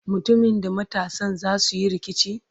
mutumin da matansa zasuyi rikici?